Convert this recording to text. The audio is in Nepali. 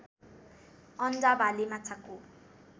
अन्डा भाले माछाको